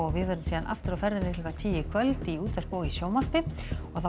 við verðum aftur á ferðinn i klukkan tíu í kvöld í útvarpi og sjónvarpi og